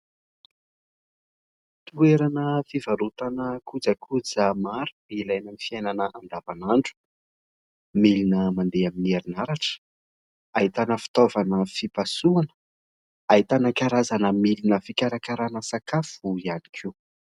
Toerana fivarotana kojakoja maro ilay amin'ny fiainana andavan'andro, milina mandeha amin'ny herinaratra, ahitana fitaovana fimpasoana, ahitanana karazana milina fikarakarana sakafo ihany koa.